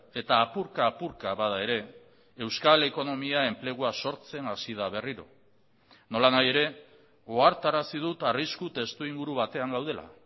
eta apurka apurka bada ere euskal ekonomia enplegua sortzen hasi da berriro nolanahi ere ohartarazi dut arrisku testuinguru batean gaudela